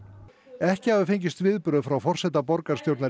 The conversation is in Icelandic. ekki hafa fengist viðbrögð frá forseta borgarstjórnar